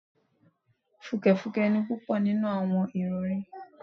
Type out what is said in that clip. Fùkẹ̀fùkẹ̀ ni púpọ̀ nínú àwọn ìrọ̀rí